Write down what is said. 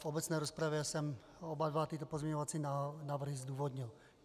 V obecné rozpravě jsem oba dva tyto pozměňovací návrhy zdůvodnil.